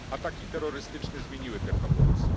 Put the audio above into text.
Ataki terrorystyczne zmieniły te proporcje.